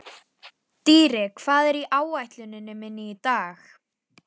Dýri, hvað er á áætluninni minni í dag?